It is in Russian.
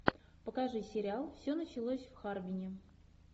покажи сериал все началось в харвине